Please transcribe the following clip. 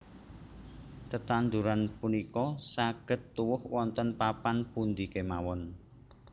Tetanduran punika saged tuwuh wonten papan pundi kemawon